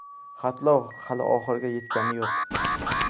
Xatlov hali oxiriga yetgani yo‘q.